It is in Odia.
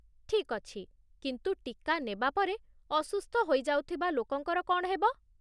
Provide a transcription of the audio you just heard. ଠିକ୍ ଅଛି, କିନ୍ତୁ ଟୀକା ନେବା ପରେ ଅସୁସ୍ଥ ହୋଇଯାଉଥିବା ଲୋକଙ୍କର କ'ଣ ହେବ?